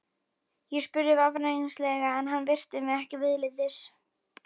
Ég spurði varfærnislega en hann virti mig ekki viðlits.